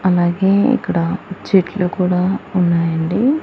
అలాగే ఇక్కడ చెట్లు కూడా ఉన్నాయ్ అండి.